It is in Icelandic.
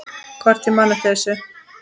Hvort ég man eftir þessu.